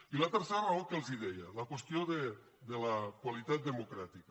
i la tercera raó que els deia la qüestió de la qualitat democràtica